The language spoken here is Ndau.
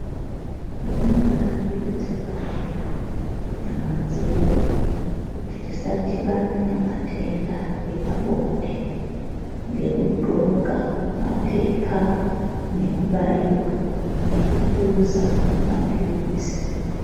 Zvinobaade kudziingwariria kunyama dzeduu kuti tisadhibane ne matenda epabonde ngekudhloka mapepa nekubaiwa nekupuza mapilizi.